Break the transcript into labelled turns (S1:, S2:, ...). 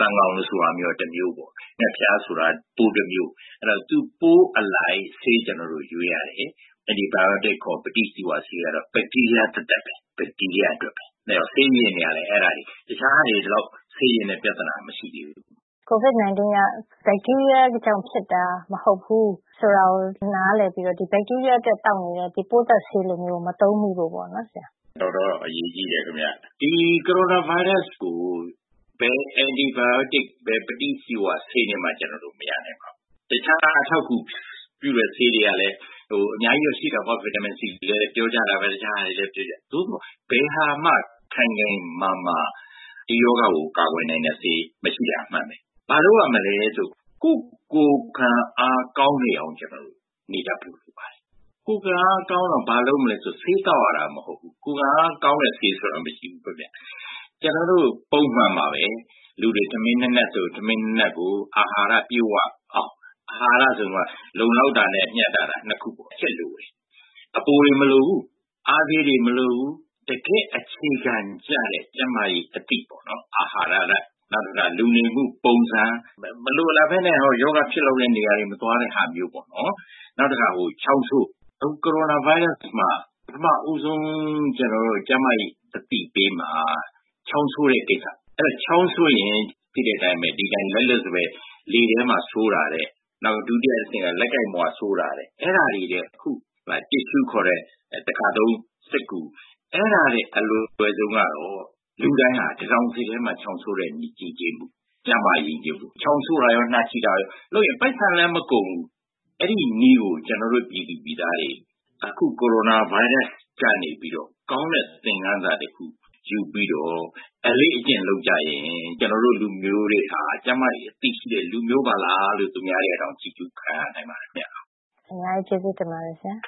S1: သန်ကောင်ဆိုတာမျိုးကလည်း တမျိုးပေါ့ဗျာ ။ ဌက်ဖျားဆိုတာ ပိုးတမျိုး ဆိုတော့ သူ့ပိုးအလိုက် ဆေးတွေ ကျနော်တို့ ရွေးရတယ်။ Antibiotics ကတော့ ဘက်တီးရီးယား အတွက်ပဲ ဆေးယဉ်တာလည်း အဲဒါတွေ တခြားဟာတွေက ဒီလောက် ဆေးယဉ်တဲ့ ပြဿနာ မရှိဘူး။
S2: COVID-19 က ဘက်တီးရီးယားကြောင့်ဖြစ်တာမဟုတ်ဘူးဆိုတာကို နားလည်ပြီးတော့ ဒီဘက်တီးရီးယား အတွက် သောက်နေတဲ့ ပိုးသတ်ဆေးလိုမျိုးကို မသုံးမိဖို့အတွက် ပေါ့နော် ဆရာ။
S1: တော်တော်အရေးကြီးတယ်ခင်ဗျ ဒီ Coronavirus ကို ဘယ် Antibiotics ဆေးတွေနဲ့ မရဘူး ။ တခြားအထောက်အကူပြုတဲ့ဆေးတွေတော့ အများကြီးတော့ ရှိတာပေါ့နော် Vitamin-C လို့လည်း ပြောကြတာပဲ ။ သို့သော် ဘယ်ဟာမှ ခိုင်ခိုင်မာမာ ဒီရောဂါကို ကာကွယ်နိုင်တဲ့ ဆေးမရှိတာက အမှန်ပါပဲ ။ ဘာလုပ်ရမလဲဆိုတော့ ကိုယ့် ကိုယ်ခံအား ကောင်းနေအောင် ကျနော်တို့ နေတတ်ဖို့လိုပါတယ်။ ကိုယ်ခံအားကောင်းဖို့ ဆေးသောက်ရတာမဟုတ်ဘူး။ ကိုယ်ခံအားကောင်းတဲ့ဆေးမရှိဘူး ကျနော်တို့ ပုံမှန်ပါပဲ လူတွေ ထမင်း ၂ နပ်ဆိုရင် ထမင်း ၂ နပ်၊ အာဟာရပြည့်၀ အောင်။ အာဟာရဆိုမှ လုံလောက်တာနဲ့ မျှတတာ ၂ ချက်လိုပါတယ်။ အပိုတွေ မလိုဘူး၊ အားဆေးတွေ မလိုဘူး တကယ့်အခြေခံကျတဲ့ ကျန်းမာရေး အသိပေါ့နော်အာဟာရ၊ နောက်တခါ လူနေမှုပုံစံ မလိုအပ်ပဲနဲ့ ရောဂါဖြစ်တဲ့နေရာတွေ မသွားတာမျိုးပေါ့နော်။ နောက်တခါ ချောင်းဆိုးတာ အခု Coronavirus မှာ ပထမဦးဆုံး ကျနော်တို့ ကျန်းမာရေးအသိပေးမှာ ချောင်းဆိုးတဲ့ကိစ္စ သိတဲ့အတိုင်း ချောင်းဆိုးရင် ဒီအတိုင်း လက်လွတ်စပယ် လေထဲမှာ ဆိုးတာထက်၊ နောက်တခါ လက်ကိုင်ပဝါတွေမှာ ဆိုးတာ ၊ အဲဒါတွေထက် အခု တစ်ရှှုး တခါသုံးစက္ကူ ။ အဲဒါတွေအားလုံးထက် အလွယ်ဆုံးကတော့ လူတိုင်းဟာ တံတောင်ဆစ်မှာ ချောင်းဆိုးတဲ့နည်း အဲဒါက ချောင်းဆိုးတာရော နှာချေတာရော က ပိုက်ဆံလည်းမကုန်ဘူး ။ အဲဒီနည်းကို ကျနော်တို့ ပြည်သူပြည်သားတွေ အခု Coronavirus ကနေပြီးတော့ ကောင်းတဲ့ သင်ခန်းစာတခု ယူပြီးတော့ အလေ့အကျင့်လုပ်ရင် ကျနော်တို့ လူမျိုးတွေဟာ ကျန်းမာရေးအသိရှိတဲ့ လူမျိုးပါလားလို့ သူများတွေ ချီးကျူးတာ ခံရနိုင်ပါတယ်ခင်ဗျ။
S2: အများကြီးကျေးဇူးတင်ပါတယ်ဆရာ ။